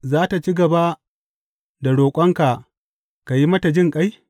Za tă ci gaba da roƙonka ka yi mata jinƙai?